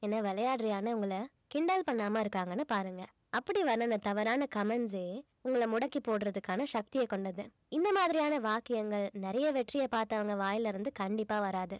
என்ன விளையாடுறியான்னு உங்கள கிண்டல் பண்ணாம இருக்காங்கன்னு பாருங்க அப்படி தவறான comments ஏ உங்கள முடக்கி போடுறதுக்கான சக்தியைக் கொண்டது இந்த மாதிரியான வாக்கியங்கள் நிறைய வெற்றியைப் பார்த்தவங்க வாயில இருந்து கண்டிப்பா வராது